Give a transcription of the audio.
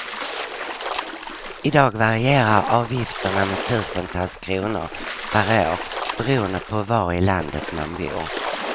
Idag varierar avgifterna med tusentals kronor per år beroende på var i landet man bor.